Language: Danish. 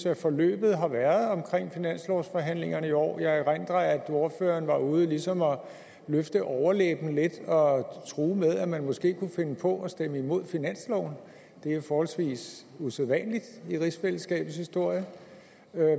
at forløbet har været omkring finanslovsforhandlingerne i år jeg erindrer at ordføreren var ude ligesom at løfte overlæben lidt og true med at man måske kunne finde på at stemme imod finansloven det er forholdsvis usædvanligt i rigsfællesskabets historie